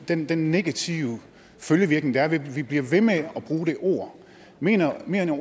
den den negative følgevirkning der er ved at vi bliver ved med at bruge det ord mener